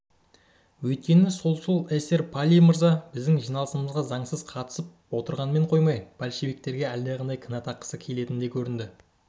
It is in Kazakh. өйткені солшыл эсер палий мырза біздің жиналысымызға заңсыз қатысып отырғанымен қоймай большевиктерге әлдеқандай кінә таққысы да келетін көрінеді